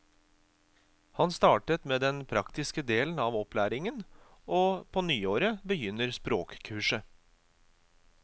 Han startet med den praktiske delen av opplæringen, og på nyåret begynner språkkurset.